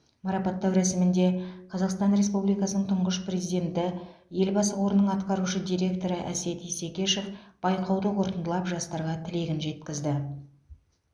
марапаттау рәсімінде қазақстан республикасының тұңғыш президенті елбасы қорының атқарушы директоры әсет исекешев байқауды қорытындылап жастарға тілегін жеткізді